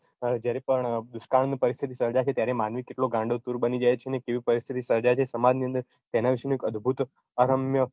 જયારે પણ દુષ્કાળની પરીસ્તિથી સર્જાશે ત્યારે માનવી કેટલો ગાંડો તુંર બની જાય છે ને કેવી પરીસ્તિથી સર્જાય છે સમાજની અંદર તેના વિશેનું એક અદભુત અરમ્ય